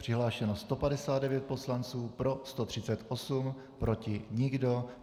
Přihlášeno 159 poslanců, pro 138, proti nikdo.